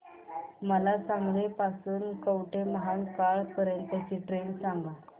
मला सांगली पासून तर कवठेमहांकाळ पर्यंत ची ट्रेन सांगा